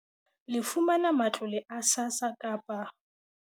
Le fumana matlole a SASSA kapa